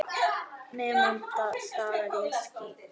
Nemið staðar eða ég skýt!